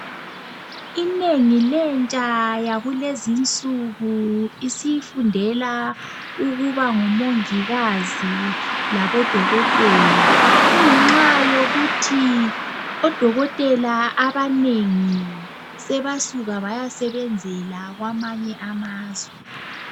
Inengi lentsha yakulezi nsuku isifundela ukuba ngomongikazi labo dokotela kungenxa yokuthi odokotela abanengi sebasuka bayasebenzela kwamanye amazwe.